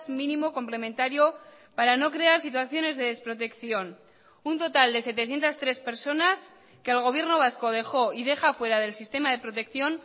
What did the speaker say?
mínimo complementario para no crear situaciones de desprotección un total de setecientos tres personas que el gobierno vasco dejó y deja fuera del sistema de protección